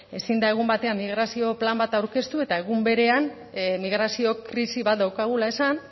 ezin da egun batean migrazio plan bat aurkeztu eta egun berean migrazio krisi bat daukagula esan